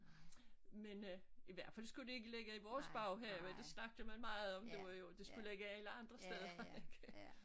Men øh i hvert fald skulle det ikke ligge i vores baghave det snakkede man meget om det var jo det skulle ligge alle andre steder ikke